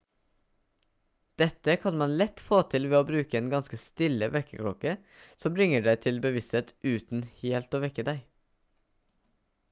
dette kan man lett få til ved å bruke en ganske stille vekkerklokke som bringer deg til bevissthet uten helt å vekke deg